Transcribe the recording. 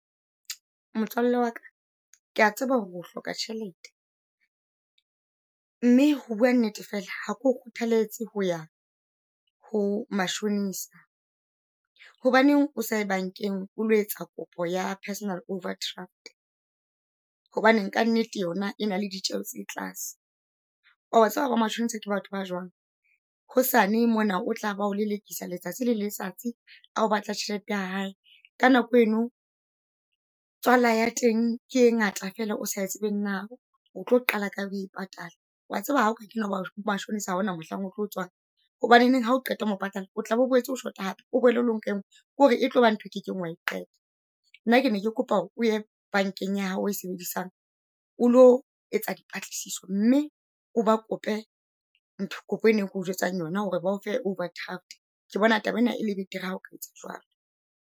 Motswalle waka kea tseba hore o hloka tjhelete , mme ho bua nnete fela ha ke o kgothaletswe ho ya ho mashonisa. Hobaneng o sa ye bankeng o lo etsa kopo ya personal overdraft? Hobane ka nnete yona e na le ditjeo tse tlase. Wa tseba hore bo matjhonisa ke batho ba jwang, hosane mona o tla ba o lelekisa letsatsi le letsatsi a o batla tjhelete ya hae. Ka nako eno tswala ya teng ke e ngata fela o sa tsebeng na o tlo qala kae ho e patala. Wa tseba hao ka kena ho mashonisa ha ona mohlang o tlo tswang? Hobaneneng hao qeta ho e patala o tlabe o boetse o shota hape. O boele o lo nka e ngwe ke hore e tlo ba ntho e o kekeng wa e qeta. Nna ke ne ke kopa hore o ye bankeng ya hao eo e sebedisang o lo etsa dipatlisiso, mme o ba kope ntho kopo e na e ke o jwetsang yona. Hore ba o fe overdraft ke bona taba ena e le betere ha o ka etsa jwalo.